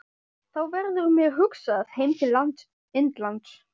Þá verður mér hugsað heim til Indlands.